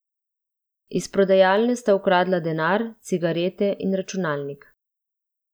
Iz prodajalne sta ukradla denar, cigarete in računalnik.